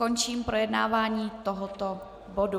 Končím projednávání tohoto bodu.